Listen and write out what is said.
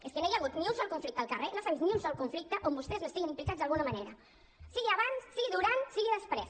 és que no hi ha hagut ni un sol conflicte al carrer no s’ha vist ni un sol conflicte on vostès no estiguin implicats d’alguna manera sigui abans sigui durant sigui després